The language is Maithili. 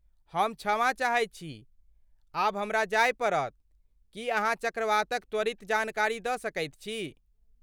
हम क्षमा चाहैत छी, आब हमरा जाय पड़त, की अहाँ चक्रवातक त्वरित जानकारी दऽ सकैत छी?